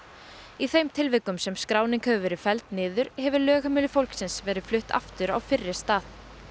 í þeim tilvikum sem skráning hefur verið felld niður hefur lögheimili fólksins verið flutt aftur á fyrri stað